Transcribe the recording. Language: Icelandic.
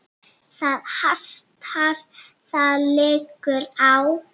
Það hastar: það liggur á.